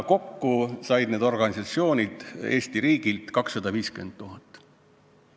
Kokku said need organisatsioonid Eesti riigilt 250 000 eurot.